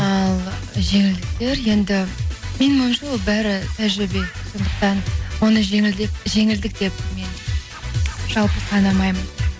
ал жеңілдіктер енді менің ойымша бәрі тәжірибе сондықтан оны жеңілдік деп мен жалпы санамаймын